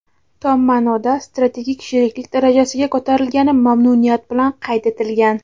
tom ma’noda strategik sheriklik darajasiga ko‘tarilgani mamnuniyat bilan qayd etilgan.